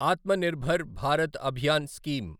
ఆత్మ నిర్భర భారత్ అభియాన్ స్కీమ్